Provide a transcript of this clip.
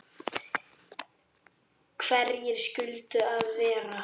Hverjir skyldu það vera?